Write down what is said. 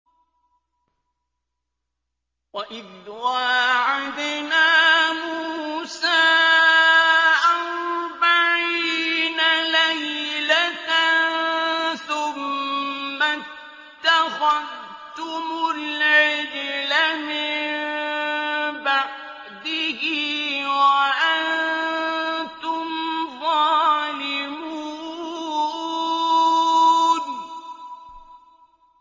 وَإِذْ وَاعَدْنَا مُوسَىٰ أَرْبَعِينَ لَيْلَةً ثُمَّ اتَّخَذْتُمُ الْعِجْلَ مِن بَعْدِهِ وَأَنتُمْ ظَالِمُونَ